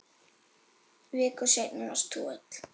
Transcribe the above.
Viku seinna varst þú öll.